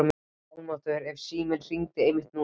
Almáttugur ef síminn hringdi einmitt núna.